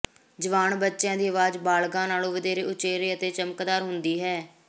ਜਵਾਨ ਬੱਚਿਆਂ ਦੀ ਆਵਾਜ਼ ਬਾਲਗ਼ਾਂ ਨਾਲੋਂ ਵਧੇਰੇ ਉਚੇਰੇ ਅਤੇ ਚਮਕਦਾਰ ਹੁੰਦੇ ਹਨ